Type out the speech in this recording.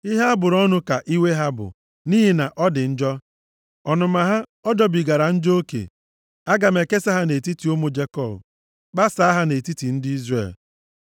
Ihe a bụrụ ọnụ ka iwe ha bụ, nʼihi na ọ dị njọ. Ọnụma ha, ọ jọbigara njọ oke. Aga m ekesa ha nʼetiti ụmụ Jekọb Kpasaa ha nʼetiti ndị Izrel.